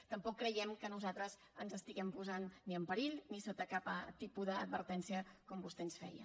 tampoc creiem que nosaltres ens estiguem posant ni en perill ni sota cap tipus d’advertència com vostè ens feia